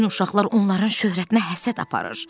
Bütün uşaqlar onların şöhrətinə həsəd aparır.